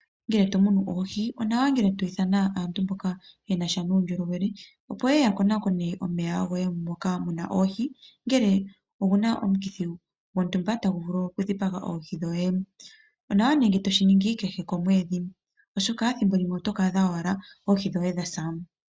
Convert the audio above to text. Ngele to munu oohi onawa ngele to ithan aantu mboka yena sha nuundjolowele . Opo yeye ya konakone omeya goye moka muna oohi ngele omuna omukithi gontumba tagu vulu oku dhipaga oohi dhoye. Onawa nee ngele toshi ningi kehe komwedhi oshoka ethimbo limwe oto ka adha ashike oohi dhoye dha sa.